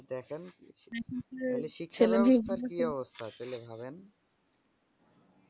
হ্যা এবার দেখেন তাহলে শিক্ষা ব্যাবস্থার কি অবস্থা ছেলেমেয়েগুলো তাহলে ভাবেন